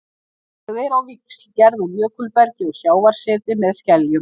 Þau eru á víxl gerð úr jökulbergi og sjávarseti með skeljum.